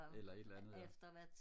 eller et eller andet ja